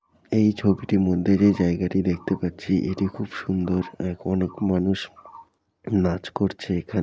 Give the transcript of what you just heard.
এই ছবিটির মধ্যে যে জায়গাটি দেখতে পাচ্ছি এটি খুব সুন্দর অনেক মানুষ নাচ করছে এখান--